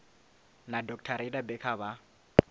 na dr rayda becker vha